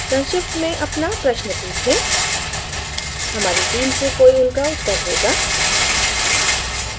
संक्षिप्त में अपना प्रश्न पूछें हमारी team से कोई उनका उत्तर देगा